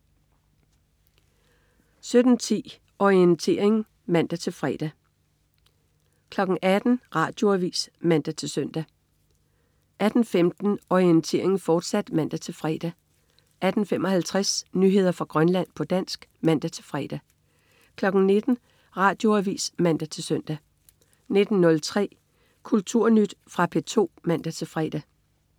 17.10 Orientering (man-fre) 18.00 Radioavis (man-søn) 18.15 Orientering, fortsat (man-fre) 18.55 Nyheder fra Grønland, på dansk (man-fre) 19.00 Radioavis (man-søn) 19.03 Kulturnyt. Fra P2 (man-fre)